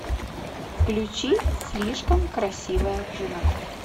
включи слишком красивая жена